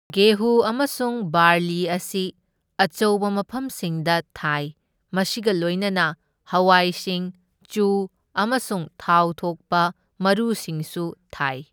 ꯒꯦꯍꯨ ꯑꯃꯁꯨꯡ ꯕꯥꯔꯂꯤ ꯑꯁꯤ ꯑꯆꯧꯕ ꯃꯐꯝꯁꯤꯡꯗ ꯊꯥꯏ, ꯃꯁꯤꯒ ꯂꯣꯢꯅꯅ ꯍꯋꯥꯏꯁꯤꯡ, ꯆꯨ, ꯑꯃꯁꯨꯡ ꯊꯥꯎ ꯊꯣꯛꯄ ꯃꯔꯨꯁꯤꯡꯁꯨ ꯊꯥꯏ꯫